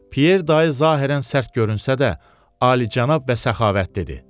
Pyer dayı zahirən sərt görünsə də, alicənab və səxavətlidir.